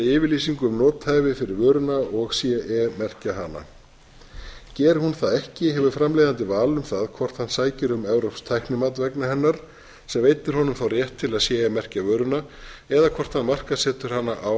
yfirlýsingu um nothæfi fyrir vöruna og ce merkja hana geri hún það ekki hefur framleiðandi val um það hvort hann sækir um evrópskt tæknimat vegna hennar sem veitir honum rétt til að ce merkja vöruna eða hvort hann markaðssetur hana án